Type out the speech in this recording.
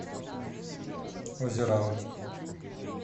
озерам